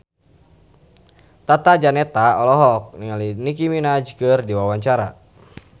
Tata Janeta olohok ningali Nicky Minaj keur diwawancara